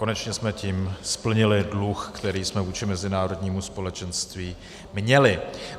Konečně jsme tím splnili dluh, který jsme vůči mezinárodnímu společenství měli.